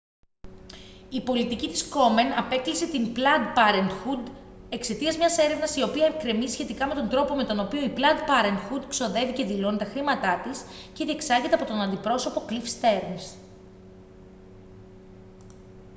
η πολιτική της κόμεν απέκλεισε την πλαντ πάρεντχουντ εξαιτίας μιας έρευνας η οποία εκκρεμεί σχετικά με τον τρόπο με τον οποίο η πλαντ πάρεντχουντ ξοδεύει και δηλώνει τα χρήματά της και διεξάγεται από τον αντιπρόσωπο κλιφ στερνς